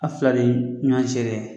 A' fila de ye ɲɔɔn seere ye.